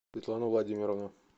светлану владимировну